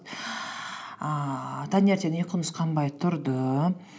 ііі таңертең ұйқыңыз қанбай тұрды